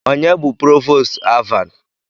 Onye bụ Provoostu Alvan?